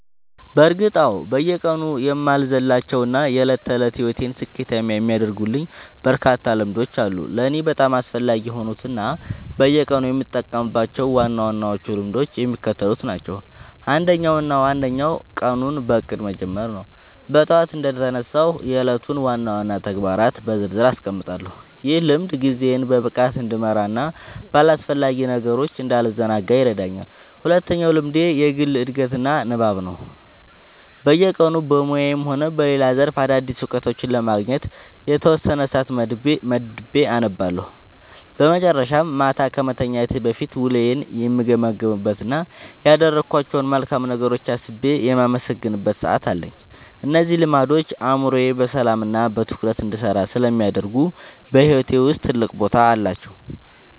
በእርግጥ አዎ፤ በየቀኑ የማልዘልላቸው እና የዕለት ተዕለት ሕይወቴን ስኬታማ የሚያደርጉልኝ በርካታ ልምዶች አሉ። ለእኔ በጣም አስፈላጊ የሆኑት እና በየቀኑ የምጠብቃቸው ዋና ዋና ልምዶች የሚከተሉት ናቸው፦ አንደኛው እና ዋነኛው ቀኑን በእቅድ መጀመር ነው። ጠዋት እንደተነሳሁ የዕለቱን ዋና ዋና ተግባራት በዝርዝር አስቀምጣለሁ፤ ይህ ልምድ ጊዜዬን በብቃት እንድመራና በአላስፈላጊ ነገሮች እንዳልዘናጋ ይረዳኛል። ሁለተኛው ልምዴ የግል ዕድገትና ንባብ ነው፤ በየቀኑ በሙያዬም ሆነ በሌላ ዘርፍ አዳዲስ እውቀቶችን ለማግኘት የተወሰነ ሰዓት መድቤ አነባለሁ። በመጨረሻም፣ ማታ ከመተኛቴ በፊት ውሎዬን የምገመግምበት እና ያደረግኳቸውን መልካም ነገሮች አስቤ የማመሰግንበት ሰዓት አለኝ። እነዚህ ልምዶች አእምሮዬ በሰላምና በትኩረት እንዲሰራ ስለሚያደርጉ በሕይወቴ ውስጥ ትልቅ ቦታ አላቸው።"